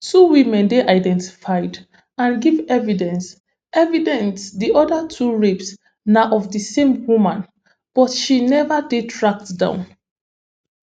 two women dey identified and give evidence evidence di oda two rapes na of di same woman but she neva dey tracked down